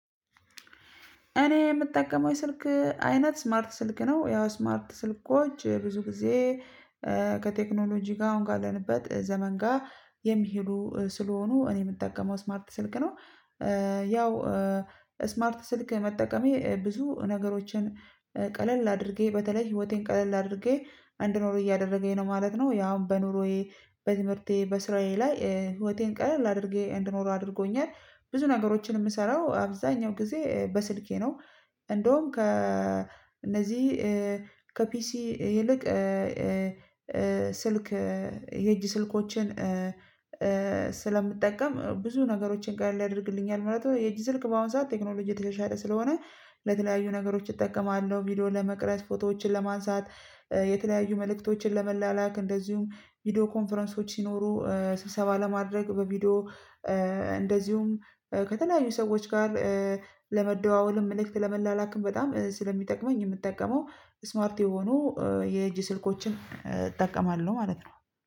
እኔ የምጠቀመው የስልክ አይነት ስማርት ስልክ ነው ያው ስማርት ስልኮች ብዙ ጊዜ ከቴክኖሎጂ ጋር አሁን ካለንበት ዘመን ጋር የሚሄዱ ስለሆኑ እኔ የምጠቀመው ስማርት ስልክ ነው። ያው ስማርት ስልክ መጠቀሜ ብዙ ነገሮችን ቀለል አድርጌ በተለይ ህይወቴን ቀለል አድርጌ እንድኖር እያደረገኝ ነው ማለት ነው። ያው በኖሮዬ በትምህርቴ በስራዬ ላይ ህይወቴን ቀለል አድርጌ እንድኖር አድርጎኛል ብዙ ነገሮችን የምሰራው አብዛኛው ጊዜ በስልኬ ነው። እንደውም ከእነዚህ ከፒሲ ይልቅ ስልክ የእጅ ስልኮችን ስለምጠቀም ብዙ ነገሮችን ቀለል ያደርግልኛል ማለት ነው። የእጅ ስልክ በአሁን ሰዓት ቴክኖሎጂ የተሻሻለ ስለሆነ ለተለያዩ ነገሮች እጠቀማለሁ ቪዲዮን ለመቅረጽ ፎቶዎችን ለማንሳት የተለያዩ መልእክቶችን ለመላላክ እንደዚሁም ቪዲዮ ኮንፈረንሶች ሲኖሩ ስብሰባ ለማድረግ በቪዲዮ። እንደዚሁም ከተለያዩ ሰዎች ጋር ለመደዋወልም መልእክት ለመላላክም በጣም ስለሚጠቅመኝ የምጠቀመው ስማርት የሆኑ የእጅ ስልኮችን እጠቀማለሁ ማለት ነው